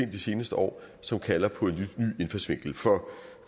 de seneste år som kalder på en lidt ny indfaldsvinkel for